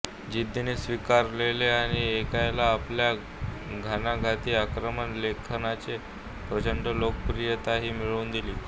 जिद्दीने स्वीकारले आणि ऐक्यला आपल्या घणाघाती आक्रमक लेखनाने प्रचंड लोकप्रियताही मिळवून दिली